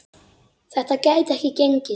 Þetta gæti ekki gengið.